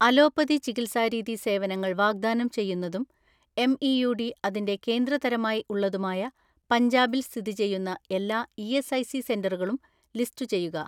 Allopathy ചികിത്സാരീതി സേവനങ്ങൾ വാഗ്‌ദാനം ചെയ്യുന്നതും എം ഇ യു ഡി അതിന്റെ കേന്ദ്ര തരമായി ഉള്ളതുമായ പഞ്ചാബിൽ സ്ഥിതി ചെയ്യുന്ന എല്ലാ ഇ.എസ്.ഐ.സി സെന്ററുകളും ലിസ്റ്റുചെയ്യുക.